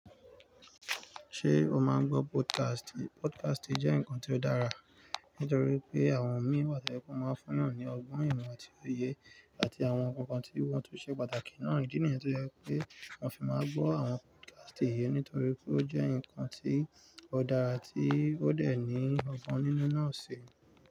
Ṣé o máa ń gbọ́ podcast? Podcast jẹ́ nǹkan tó dára, nítorí pé àwọn mi wà tójẹ́ pé máa ń fún èèyàn ní ọgbọ́n ìmọ̀ àti òye àti àwọn nǹkan tí wọ́n tún ṣe pàtàkì náà. Ìdí nìyẹn tó jẹ́ pé mò fi máa gbọ́ àwọn podcast yìí, nítorí pé ó jẹ́ ǹkan tó dára tí ó dẹ̀ ní ọgbọ́n nínú náà ṣi.